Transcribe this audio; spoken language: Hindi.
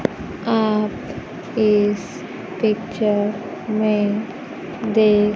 आप इस पिक्चर में देख--